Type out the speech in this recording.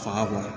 Faŋa kɔrɔ